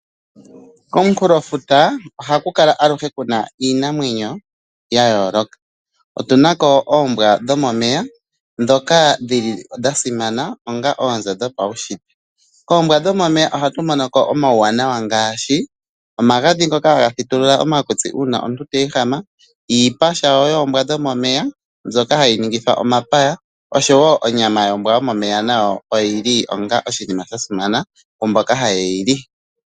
Komunkulofuto oku na ohaku kala alushe kuna iinamwenyo yayooloka otu na ko oombwa dhomomeya dhoka dhili dhasimana onga oonzo dhopaushitwe hatu monoko omauwanawa ngaashi omagadhi ngoka haga thituluka omakutsi uuna omuntu ta ehama, iipa woo yoombwa dhomomeya mbyoka hayi ningitha omapaya noshoo woo onyama yombwa yomomeya oyi li oshinima shasimana kwaamboka haye hili.